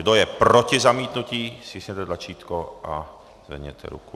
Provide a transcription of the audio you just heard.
Kdo je proti zamítnutí, stiskněte tlačítko a zvedněte ruku.